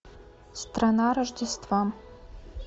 страна рождества